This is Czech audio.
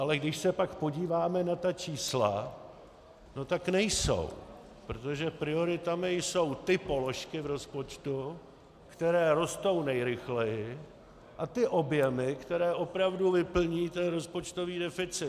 Ale když se pak podíváme na ta čísla, no tak nejsou, protože prioritami jsou ty položky v rozpočtu, které rostou nejrychleji, a ty objemy, které opravdu vyplní ten rozpočtový deficit.